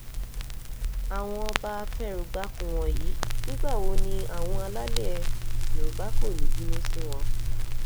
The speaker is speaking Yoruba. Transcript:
àwọn ọba afẹrúgbàkun wọ̀nyí nígbà wo ni àwọn alálẹ̀ yorùbá kò ní í bínú sí wọn